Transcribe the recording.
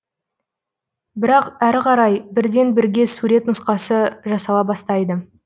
бірақ әрі қарай бірден бірге сурет нұсқасы жасала бастайды